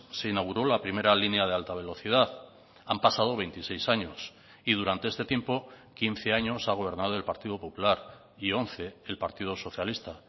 se inauguró la primera línea de alta velocidad han pasado veintiséis años y durante este tiempo quince años ha gobernado el partido popular y once el partido socialista